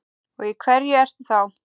Og í hverju ertu þá?